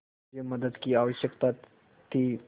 मुझे मदद की आवश्यकता थी